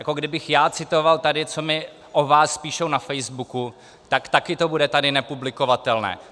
Jako kdybych já citoval tady, co mi o vás píšou na Facebooku, tak taky to bude tady nepublikovatelné.